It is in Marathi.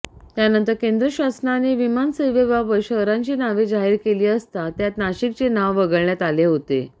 त्यानंतर केंद्र शासनाने विमानसेवेबाबत शहरांची नावे जाहीर केली असता त्यात नाशिकचे नाव वगळण्यात आले होते